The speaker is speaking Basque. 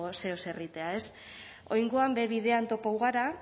zeozer egitea ez oraingoan be bidean topatu gara